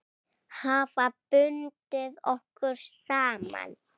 Hafa bundið okkur saman.